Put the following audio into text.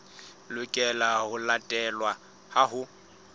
lokelang ho latelwa ha ho